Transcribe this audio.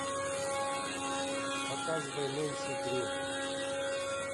показывай нэнси дрю